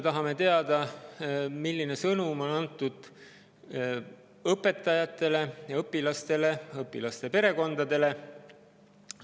Tahame teada, milline sõnum on antud õpetajatele ja õpilastele, õpilaste perekondadele.